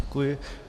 Děkuji.